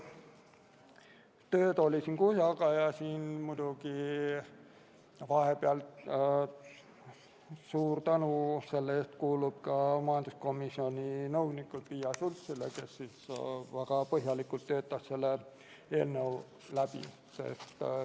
Tööd oli kuhjaga ja suur tänu majanduskomisjoni nõunikule Piia Schultsile, kes väga põhjalikult selle eelnõu läbi töötas.